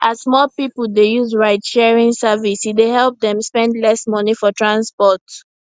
as more people dey use ridesharing service e dey help them spend less money for transport